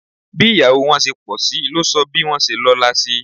Bí ìyàwó wọn ṣe pọ̀sí ló sọ bí wọ́n ṣe lọ́la sí